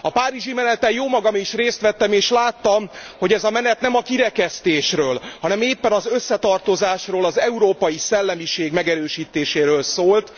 A párizsi meneten jómagam is részt vettem és láttam, hogy ez a menet nem a kirekesztésről, hanem éppen az összetartozásról, az európai szellemiség megerősítéséről szólt.